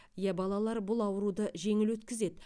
иә балалар бұл ауруды жеңіл өткізеді